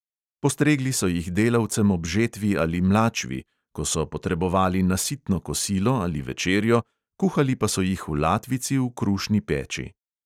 Postregli so jih delavcem ob žetvi ali mlačvi, ko so potrebovali nasitno kosilo ali večerjo, kuhali pa so jih v latvici v krušni peči.